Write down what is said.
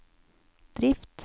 drift